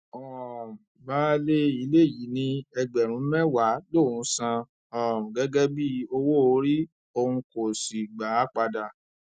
um baálé ilé yìí ní ẹgbẹrún mẹwàá lòún san um gẹgẹ bíi owóorí òun kò sì gbà á padà